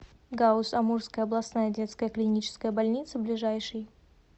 гауз амурская областная детская клиническая больница ближайший